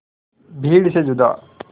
भीड़ से जुदा